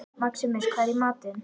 Maximus, hvað er í matinn?